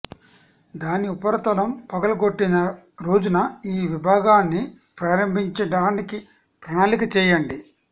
దాని ఉపరితలం పగులగొట్టిన రోజున ఈ విభాగాన్ని ప్రారంభించటానికి ప్రణాళిక చేయండి